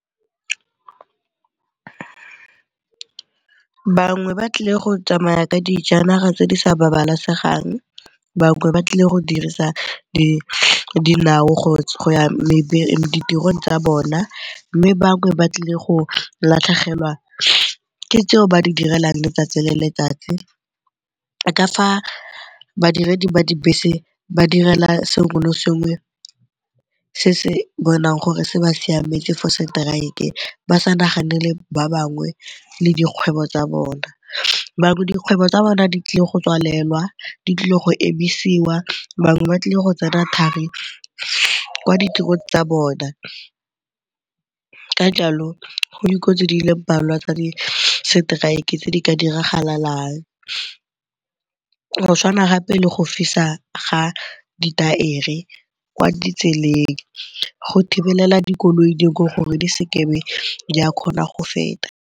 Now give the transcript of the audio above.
Bangwe ba tlile go tsamaya ka dijanaga tse di sa babalesegang bangwe ba tlile go dirisa dinao go ya ditirong tsa bona mme bangwe ba tlile go latlhegelwa ke tseo ba di direlang letsatsi le letsatsi. Ka fa badiredi ba dibese ba direla sengwe le sengwe se se bonang gore se ba siametse for seteraeke. Ba sa naganele ba bangwe le dikgwebo tsa bona, bangwe dikgwebo tsa bona di tlile go tswalelwa, di tlile go emisiwa bangwe ba tlile go tsena thari kwa ditirong tsa bona. Ka jalo go dikotsi di le mmalwa tsa di seteraeke tse di ka diragalang go tshwana gape le go fisa ga ditaere kwa ditseleng go thibelela dikoloi dingwe gore di se ke be di a kgona go feta.